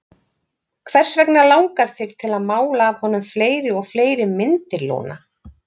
Hvers vegna langar þig til að mála af honum fleiri og fleiri myndir, Lúna?